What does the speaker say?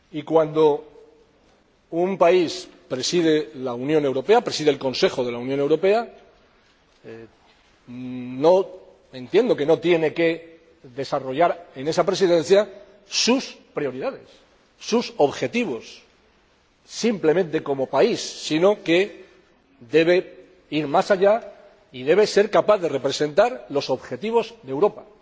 Cuando un país preside el Consejo de la Unión Europea, entendemos que no tiene que desarrollar en esa Presidencia sus prioridades, sus objetivos simplemente como país, sino que debe ir más allá y debe ser capaz de representar los objetivos de Europa.